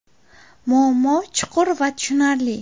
Muammo chuqur va tushunarli.